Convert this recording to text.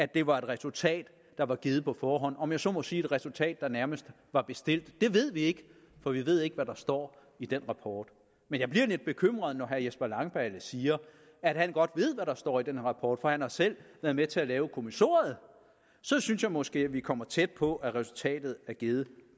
det var et resultat der var givet på forhånd om jeg så må sige et resultat der nærmest var bestilt det ved vi ikke for vi ved ikke hvad der står i den rapport men jeg bliver lidt bekymret når herre jesper langballe siger at han godt ved hvad der står i den rapport for han har selv været med til at lave kommissoriet så synes jeg måske vi kommer tæt på at resultatet er givet